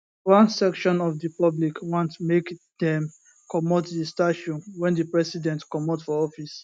one section of di public want make dem comot di statue wen di president comot for office